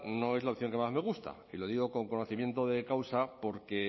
no es la opción que más me gusta y lo digo con conocimiento de causa